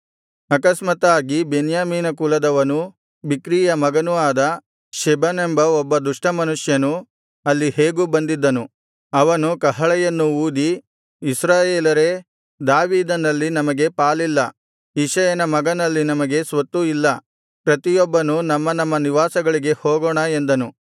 ಆಕಸ್ಮಾತ್ತಾಗಿ ಬೆನ್ಯಾಮೀನ ಕುಲದವನೂ ಬಿಕ್ರೀಯ ಮಗನೂ ಆದ ಶೆಬನೆಂಬ ಒಬ್ಬ ದುಷ್ಟಮನುಷ್ಯನು ಅಲ್ಲಿ ಹೇಗೋ ಬಂದಿದ್ದನು ಅವನು ಕಹಳೆಯನ್ನು ಊದಿ ಇಸ್ರಾಯೇಲರೇ ದಾವೀದನಲ್ಲಿ ನಮಗೆ ಪಾಲಿಲ್ಲ ಇಷಯನ ಮಗನಲ್ಲಿ ನಮಗೆ ಸ್ವತ್ತು ಇಲ್ಲ ಪ್ರತಿಯೊಬ್ಬನೂ ನಮ್ಮ ನಮ್ಮ ನಿವಾಸಗಳಿಗೆ ಹೋಗೋಣ ಎಂದನು